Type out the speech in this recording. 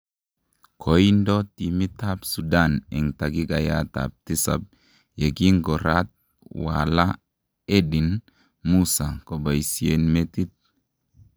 Koindo timit ab Sudan en takikait ab tisap ye kingo raat Walaa Eldin Musa kobaisien metit